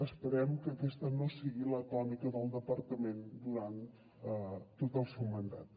esperem que aquesta no sigui la tònica del departament durant tot el seu mandat